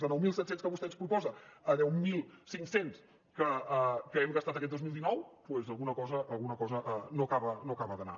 de nou mil set cents que vostè ens proposa a deu mil cinc cents que hem gastat aquest dos mil dinou doncs alguna cosa no acaba d’anar